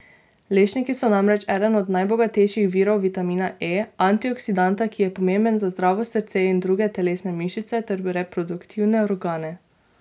Lešniki so namreč eden od najbogatejših virov vitamina E, antioksidanta, ki je pomemben za zdravo srce in druge telesne mišice ter reproduktivne organe.